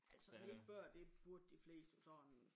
Altså 9 børn det burde de fleste jo sådan